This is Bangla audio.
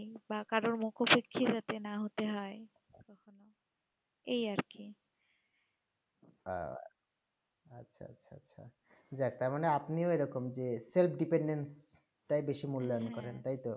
হেঁ আচ্ছা আচ্ছা আচ্ছা যে যাক তারমানে আপনিও এইরকম যে self dependent তাই বেশি মূল্যায়ন করে তাই তো